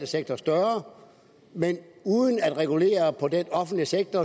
sektor større men uden at regulere på den offentlige sektor